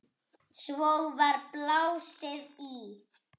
Svo var blásið í.